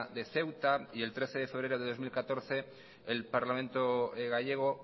de ceuta y el trece de febrero de dos mil catorce el parlamento gallego